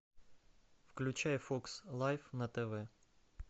включай фокс лайф на тв